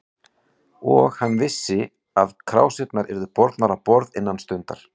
Og hann vissi, að krásirnar yrðu bornar á borð innan stundar.